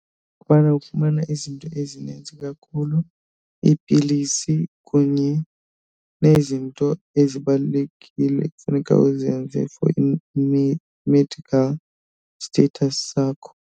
Kubana ufumana izinto ezininzi kakhulu, iipilisi kunye nezinto ezibalulekile ekufuneka uzenze for i-medical status sakho.